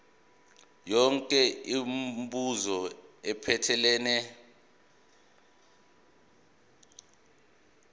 yonke imibuzo ephathelene